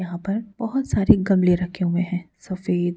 यहां पर बहोत सारे गमले रखे हुए हैं सफेद--